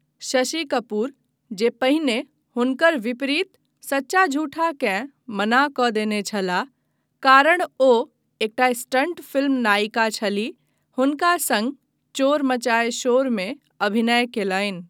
शशि कपूर, जे पहिने हुनकर विपरीत सच्चा झूठाकेँ मना कऽ देने छलाह कारण ओ एकटा 'स्टन्ट फिल्म नायिका' छलीह, हुनका सङ्ग चोर मचाये शोरमे अभिनय कयलनि।